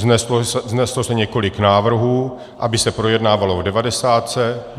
Vzneslo se několik návrhů, aby se projednávalo v devadesátce.